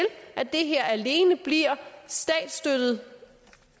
at det her alene bliver statsstøttet